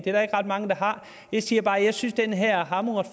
ret mange der har jeg siger bare at jeg synes at den her er hamrende